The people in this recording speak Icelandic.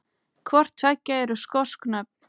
Hvort tveggja eru skosk nöfn.